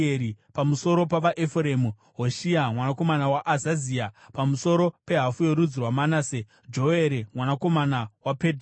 pamusoro pavaEfuremu: Hoshea mwanakomana waAzazia; pamusoro pehafu yorudzi rwaManase: Joere mwanakomana waPedhaya;